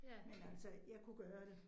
Men altså jeg kunne gøre det